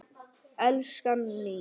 Elskan mín.